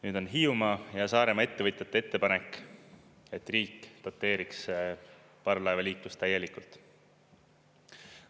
Nüüd on Hiiumaa ja Saaremaa ettevõtjate ettepanek, et riik doteeriks parvlaevaliiklust täielikult.